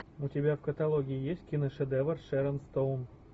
у тебя в каталоге есть киношедевр шерон стоун